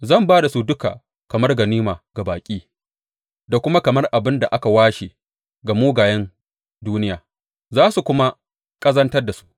Zan ba da su duka kamar ganima ga baƙi da kuma kamar abin da aka washe ga mugayen duniya, za su kuma ƙazantar da su.